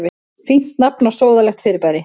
Fínt nafn á sóðalegt fyrirbæri.